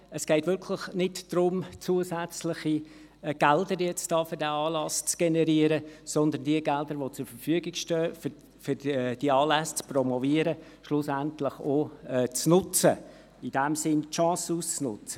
Es geht wirklich nicht darum, nun zusätzliche Gelder für diesen Anlass zu generieren, sondern die Gelder, die zur Verfügung stehen, um diese Anlässe zu promoten, schlussendlich auch zu nutzen – in diesem Sinne, die Chancen zu nutzen.